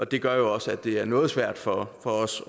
det gør også at det er noget svært for for os